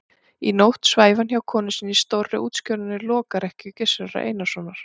Í nótt svæfi hann hjá konu sinni í stórri og útskorinni lokrekkju Gizurar Einarssonar.